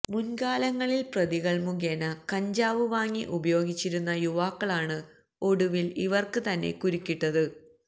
മുൻകാലങ്ങളിൽ പ്രതികൾ മുഖേന കഞ്ചാവ് വാങ്ങി ഉപയോഗിച്ചിരുന്ന യുവാക്കളാണ് ഒടുവിൽ ഇവർക്ക് തന്നെ കുരുക്കിട്ടത്